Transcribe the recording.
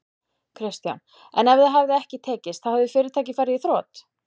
Kristján: En ef það hefði ekki tekist þá hefði fyrirtækið farið í þrot?